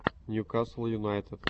ньюкасл юнайтед